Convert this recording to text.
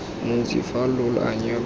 montsi fa lo anya lo